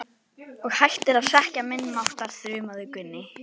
Og hættir að hrekkja minni máttar, þrumaði Gunni.